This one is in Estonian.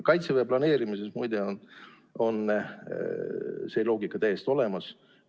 Kaitseväe planeerimises, muide, on see loogika täiesti olemas.